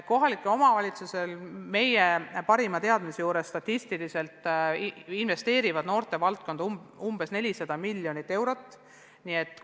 Meie andmetel investeerivad kohalikud omavalitsused noortevaldkonda umbes 400 miljonit eurot aastas.